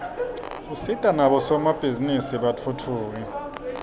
usita nabosomabhizinisi batfutfuke